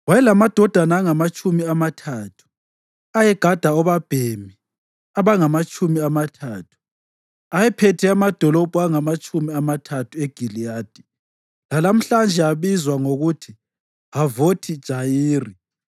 Wayelamadodana angamatshumi amathathu, ayegada obabhemi abangamatshumi amathathu. Ayephethe amadolobho angamatshumi amathathu eGiliyadi, lalamhlanje abizwa ngokuthi Havothi Jayiri.